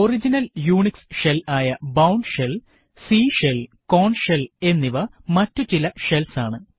original Unix shell ആയ Bourne shell C shell Korn shell എന്നിവ മറ്റു ചില ഷെൽസ് ആണ്